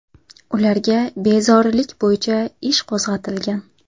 Ularga bezorilik bo‘yicha ish qo‘zg‘atilgan.